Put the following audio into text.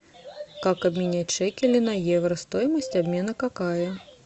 как обменять шекели на евро стоимость обмена какая